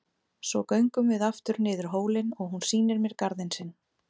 Svo göngum við aftur niður hólinn og hún sýnir mér garðinn sinn.